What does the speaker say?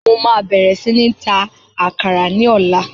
Mo máa bẹ̀rẹ̀ sí ní ń ta àkàrà ní ọ̀la